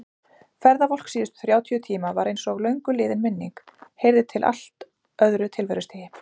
Ferðavolk síðustu þrjátíu tíma var einsog löngu liðin minning, heyrði til allt öðru tilverustigi.